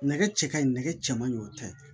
Nɛgɛ cɛ ka ɲi nɛgɛ cɛ man ɲi o tɛ